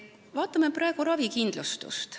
Vaatame ravikindlustust.